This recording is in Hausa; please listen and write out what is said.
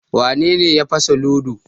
Wane ne ya fasa ludo?